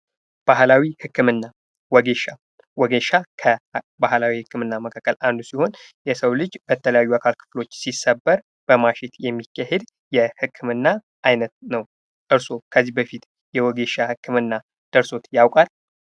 ባህላዊ ህክምና ወጌሻ ወጌሻ ከባህላዊ ህክምና መካከል አንዱ ሲሆን የሰው ልጅ የተለያዩ የአካል ክፍል ሲሰበር በማሸት የሚሄድ የህክምና አይነት ነው። እርስዎ ከዚህ በፊት የወጌሻ ህክምና ደርሶ ያውቃል?